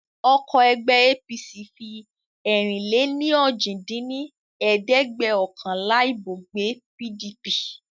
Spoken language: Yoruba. Ọkọ̀ ẹgbẹ́ APC fi ẹ̀rin-lé-ní-ojì dín ní ẹ̀ẹ́dẹ́gbẹ́ọ̀kànlá ibo gbé pdp